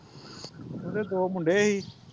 ਉਹਦੇ ਦੋ ਮੁੰਡੇ ਸੀ